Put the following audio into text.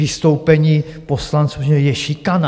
Vystoupení poslanců že je šikana!